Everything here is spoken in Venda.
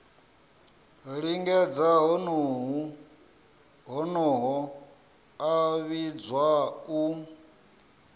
lingedza honoho a vhidzwa u